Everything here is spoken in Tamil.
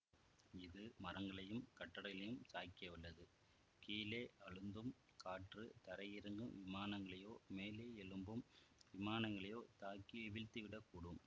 இது மரங்களையும் கட்டடகளையும் சாய்க்கவல்லது கீழே அழுந்தும் காற்று தரையிறங்கும் விமானங்களையோ மேலேயெழும்பும் விமானங்களையோ தாக்கி வீழ்த்திவிடக்கூடும்